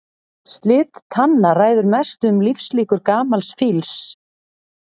Slit tanna ræður mestu um lífslíkur gamals fíls.